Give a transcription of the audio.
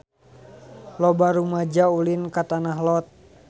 Loba rumaja ulin ka Tanah Lot